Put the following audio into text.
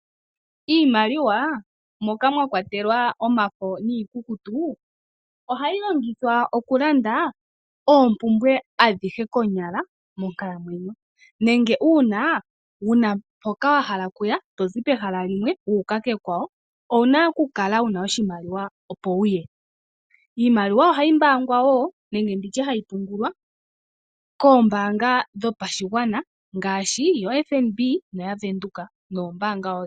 Iimaliwa, moka mwakwatelwa omafo noikukutu, oha yi longithithwa okulanda oopumbwe adhihe konyala monkalamwenyo, nenge uuna wuna mpoka wahala okuya, tozi pehala limwe wuuka kekwawo, owu na okukala wuna oshimaliwa opo wuye. Iimaliwa oha yimbaangwa wo, nenge nditye ha yi pungulwa, koombaanga dhopashigwana ngaashi yo FNB, noya Bank Windhoek, noombaanga odhindji.